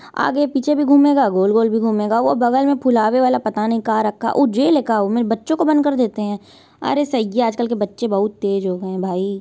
आगे पीछे भी घूमेगा गोल-गोल भी घूमेगा। वो बगल में फुलवे वाला पता नहीं का रखा है। उ जेल है का उमे बच्चो को बंद करदेते है अरे सही है आज कल के बच्चे बहुत तेज़ हो गए हैं भाई।